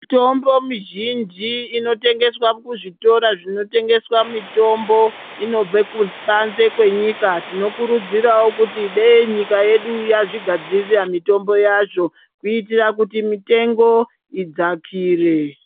Mutombo mizhinji inotengeswa kuzvitora zvinotengeswa mutombo inobve kuBanze kwenyika tinokurudzira kuti dei nyika yedu yazvigadzirira mutombo yazvo kuitira kuti mitengo idzakire.